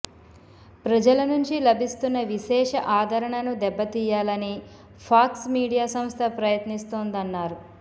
ప్రజల నుంచి లభిస్తున్న విశేష ఆధరణను దెబ్బతీయాలని ఫాక్స్ మీడియా సంస్థ ప్రయత్నిస్తోందన్నారు